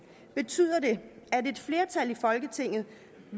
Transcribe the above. betyder det at et flertal i folketinget